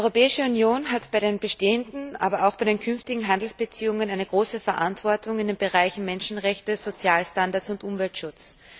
Die Europäische Union hat bei den bestehenden, aber auch bei den künftigen Handelsbeziehungen eine große Verantwortung in den Bereichen Menschenrechte, Sozialstandards und Umweltschutz.